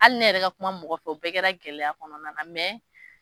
Hali ne yɛrɛ ka kuma mɔgɔ fɛ o bɛɛ kɛra gɛlɛya kɔnɔna na mɛ